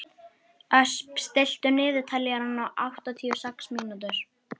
Ösp, stilltu niðurteljara á áttatíu og sex mínútur.